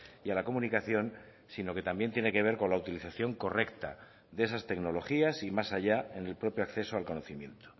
y a la comunicación sino que también tiene que ver con la utilización correcta de esas tecnologías y más allá en el propio acceso al conocimiento